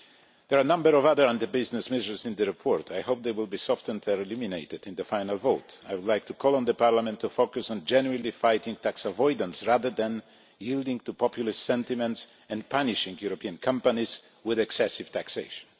There are a number of other anti business measures in the report. I hope they will be softened or eliminated in the final vote. I would like to call on the Parliament to focus on genuinely fighting tax avoidance, rather than yielding to populist sentiment and punishing European companies with excessive taxation.